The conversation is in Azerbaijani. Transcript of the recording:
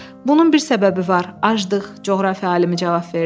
Bunun bir səbəbi var, aclıq, coğrafiya alimi cavab verdi.